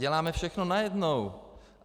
Děláme všechno najednou.